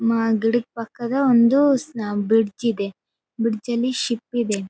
ಮ ಗಿಡದ ಪಕ್ಕದ ಒಂದು ಸ್ನ ಬ್ರಿಡ್ಜ್ ಇದೆ ಬ್ರಿಡ್ಜ್ ನಲ್ಲಿ ಶೀಪ್ ಇದೆ.